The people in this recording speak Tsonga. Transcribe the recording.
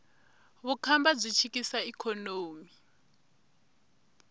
vukhamba byi chikisa ikhonomi